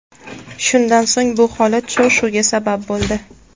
Shundan so‘ng, bu holat shov-shuvga sabab bo‘ldi.